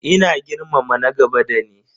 Ina girmama na gaba dani.